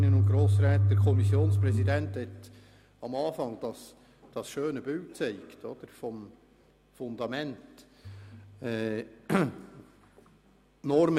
Der Kommissionspräsident hat am Anfang das schöne Bild vom Fundament aufgezeigt.